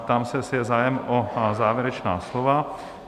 Ptám se, jestli je zájem o závěrečná slova?